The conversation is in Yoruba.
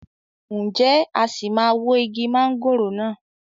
Ǹjẹ́ a sì máa wó igi mọ̀ngòrò náà?